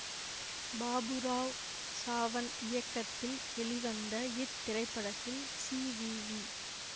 பாபுராவ் சாவன் இயக்கத்தில் வெளிவந்த இத்திரைப்படத்தில் சி வி வி